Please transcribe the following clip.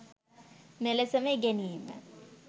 මෙලෙසම ඉගෙනීමේ